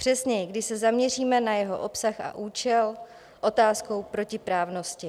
Přesněji, když se zaměříme na jeho obsah a účel, otázkou protiprávnosti.